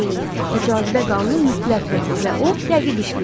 Axı cazibə qanunu mütləqdir və o dəqiq işləyir.